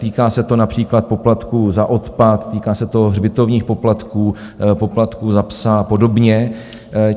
Týká se to například poplatků za odpad, týká se to hřbitovních poplatků, poplatků za psa a podobně.